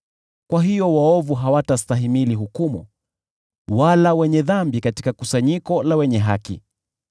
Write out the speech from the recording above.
Kwa hiyo waovu hawatastahimili hukumu, wala wenye dhambi katika kusanyiko la wenye haki.